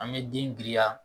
An bɛ den giriya.